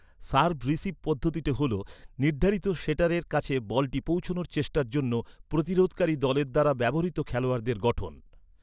Serve receive পদ্ধতিটি হল নির্ধারিত সেটারের কাছে বলটি পৌঁছনোর চেষ্টার জন্য প্রতিরোধকারী দলের দ্বারা ব্যবহৃত খেলোয়াড়দের গঠন।